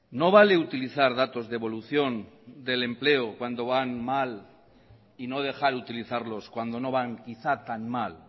no vale utilizar datos de evolución del empleo cuando van mal y no dejar utilizarlos cuando no van quizá tan mal